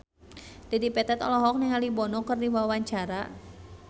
Dedi Petet olohok ningali Bono keur diwawancara